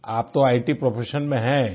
आप तो इत प्रोफेशन में हैं